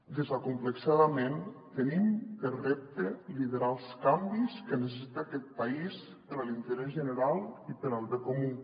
desacomplexadament tenim per repte liderar els canvis que necessita aquest país per a l’interès general i per al bé comú